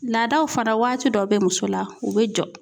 Laadaw fana waati dɔ be muso la o be jɔ.